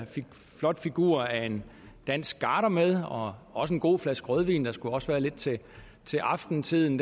flot figur af en dansk garder med og også en god flaske rødvin der skulle også være lidt til aftenstunden